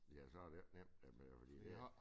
Ja så det jo ikke nemt at man fordi i dag